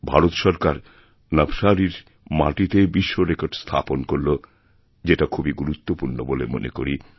ভারত সরকারনবসারীর মাটিতে বিশ্বরেকর্ড স্থাপন করল যেটা খুবই গুরুত্বপূর্ণ বলে মনে করি